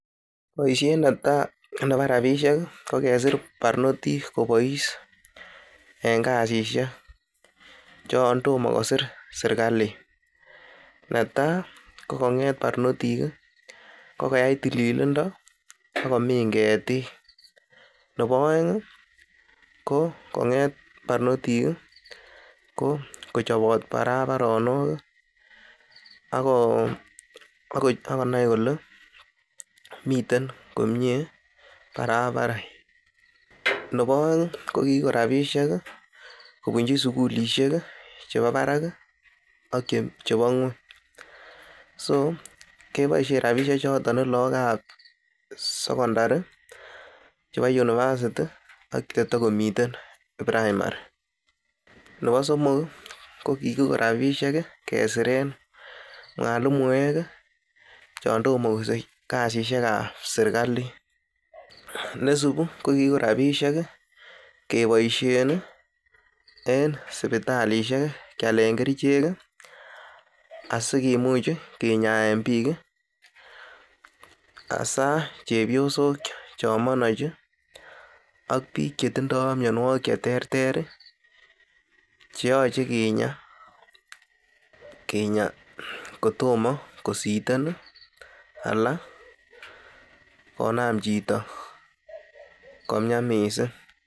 Boisiet netai nebo rabishek kokesir barnotik kobois, en kasishek yon tomo kosir serkalit, netai ko konget barnotik ko koyai tililindo ak komin ketik, nebo oeng ko konget barnotik ko kochobot barabaronok ak ko konai kole miten komie barabaret. Nebo oeng ko kigiko rabishek kobunchi sugulisiek chebo barak ak chebo ng'weny. So keboisien rabishek chotet lagok ab sokondari, chebo university ak che togomiten primary nebo somok, ko kigiko rabishek kesiren mwalimuek chon tomo kosich kasishek ab serkalit nesibu ko kigiko rabisiek keboishe en sipitalisiek kealen kerichek asikimuch kinyaen biik hasa chepyosok chon manachi ak biik chetindo mianwogik che terter cheyoche kinya kotomo kositen ala konam chito komian mising.